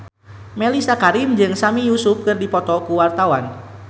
Mellisa Karim jeung Sami Yusuf keur dipoto ku wartawan